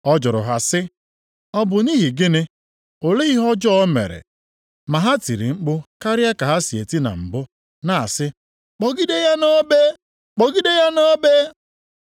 Ọ jụrụ ha sị, “Ọ bụ nʼihi gịnị? Olee ihe ọjọọ o mere?” Ma ha tiri mkpu karịa ka ha si eti na mbụ, na-asị, “Kpọgide ya nʼobe! Kpọgide ya nʼobe!”